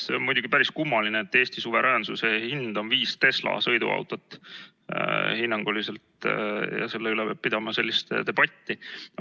See on muidugi päris kummaline, et Eesti suveräänsuse hind on hinnanguliselt viis Tesla sõiduautot ja selle üle peab pidama sellist debatti.